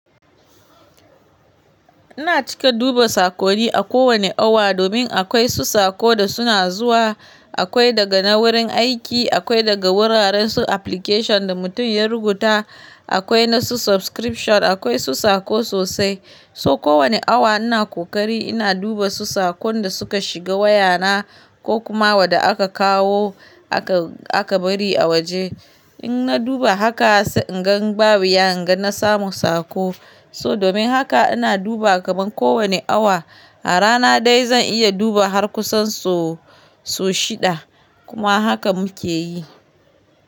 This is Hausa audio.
Ina cika duba sakoni a kowane awa domin akwai su sako da suna zuwa. Akwai daga na wurin aiki, akwai daga wuraren su application da mutum yar rubuta, akwai na su subscription, akwai su sako sosai. So kowane awa ina kokari ina duba su sakon da suka shiga wayana ko kuma waɗda aka kawo aka bari a waje. In na duba haka sai in gan ba wuya in gan na samu sako. So domin haka ina duba gaban kowane awa. A rana dai zan iya duba har kusan sau shidda kuma haka muke yi.